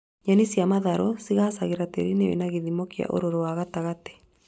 Nyeni cia matharũ cigaacagĩra tĩĩri-inĩ wĩna gĩthĩmo kĩa ũrũrũ ya gatagatĩ